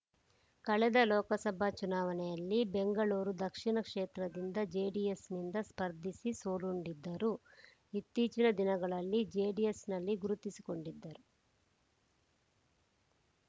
ಕಳೆದ ಲೋಕಸಭಾ ಚುನಾವಣೆಯಲ್ಲಿ ಬೆಂಗಳೂರು ದಕ್ಷಿಣ ಕ್ಷೇತ್ರದಿಂದ ಜೆಡಿಎಸ್‌ನಿಂದ ಸ್ಪರ್ಧಿಸಿ ಸೋಲುಂಡಿದ್ದರು ಇತ್ತೀಚಿನ ದಿನಗಳಲ್ಲಿ ಜೆಡಿಎಸ್‌ನಲ್ಲಿ ಗುರುತಿಸಿಕೊಂಡಿದ್ದರು